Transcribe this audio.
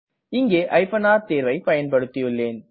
இங்கே r தேர்வை பயன்படுத்தியுள்ளேன்